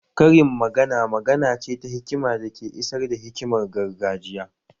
Karin magana magana ce ta hikima da ke isar da hikimar gargajiya